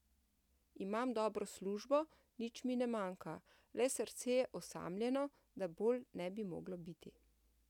Imam dobro službo, nič mi ne manjka, le srce je osamljeno, da bolj ne bi moglo biti.